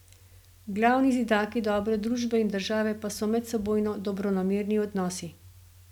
Glavni zidaki dobre družbe in države pa so medsebojno dobronamerni odnosi.